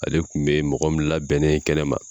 Ale kun be mɔgɔ min labɛnnen ye kɛnɛ ma